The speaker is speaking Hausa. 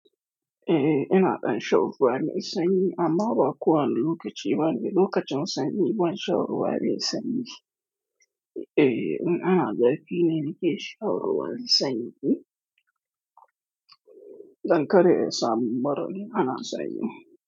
Eh, ina ɗan shan ruwa mai sanyi amma ba kuwa lokaci bane. Lokacin sanyi, ban shan ruwa mai sanyi. Eh, in ana zafi ne nike shan ruwa mai sanyi. Dan kada in samu mura in ana sanyi.